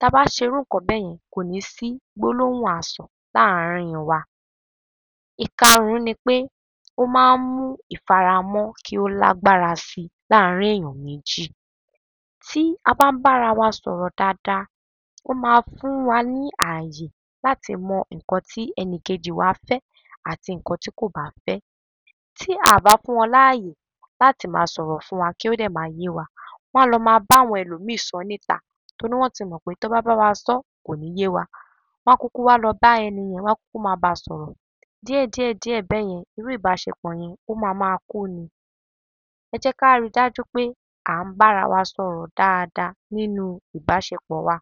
Tá a bá ń serú ǹǹkan bẹ́yẹ́n, kò ní í sí gbólóhùn asọ̀ láàrín wa. Ìkarùn-ún ni pé ó máa ń mú ìfaramọ́ kí ó lágbára si láàrín èèyàn méjì. Tí a bá ń bára wa sọ̀rọ̀ dáadáa, ó máa fún wa ní ààyè láti mọ ǹǹkan tí ẹnìkejì wa fẹ́ àti ǹǹkan tí kò bá fẹ́. Tí a à bá fún wọn láàyè láti ma sọ̀rọ̀ fún wa kí ó dẹ̀ máa yé wa, wọ́n a lọ ma báwọn ẹlòmíì sọ́ níta. Torí wọ́n ti mọ̀ pé tán bá bá wa sọ́, kò ní í yé wa. Wọ́n á kúkú wá lọ bá ẹni yẹn, wọ́n á kúkú máa bá a sọ̀rọ̀. Díẹ̀díẹ̀ díẹ̀ bẹ́yẹn, irú ìbáṣepọ̀ yẹn, ó ma máa kú ni. Ẹ jẹ́ ká ri dájú pé à ń bára wa sọ̀rọ̀ dáadáa nínú ìbáṣepọ̀ wa.